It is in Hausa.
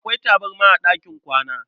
Akwai tabarma a ɗakin kwana.